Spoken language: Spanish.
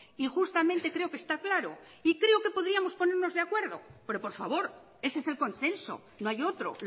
y justamente creo que está claro y creo que podríamos ponernos de acuerdo pero por favor ese es el consenso no hay otro